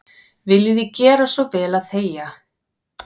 Viljiði gera svo vel að þegja.